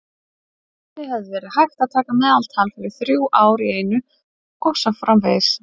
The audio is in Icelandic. Einnig hefði verið hægt að taka meðaltal fyrir þrjú ár í einu og svo framvegis.